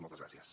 moltes gràcies